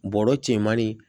Bɔrɔ cɛmanni